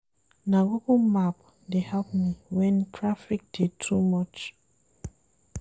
Na Google Map dey help me wen traffic dey too much.